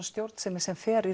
stjórnsemi sem fer í